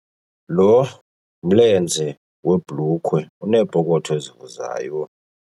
Lo mlenze webhulukhwe unepokotho evuzayo.